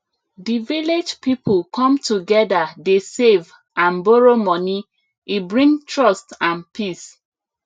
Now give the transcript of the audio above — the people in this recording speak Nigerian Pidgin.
the village people come together dey save and borrow money e bring trust and peace